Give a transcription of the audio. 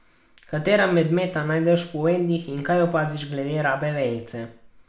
Katera medmeta najdeš v povedih in kaj opaziš glede rabe vejice?